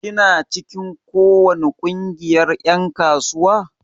Kina cikin ko wani kungiyar en kasuwa?